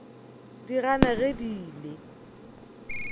di gana ge di ile